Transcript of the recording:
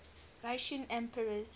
russian emperors